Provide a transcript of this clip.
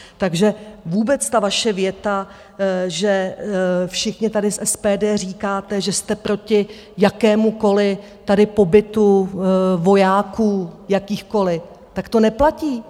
Takže vůbec ta vaše věta, že všichni tady z SPD říkáte, že jste proti jakémukoliv tady pobytu vojáků jakýchkoliv, tak to neplatí.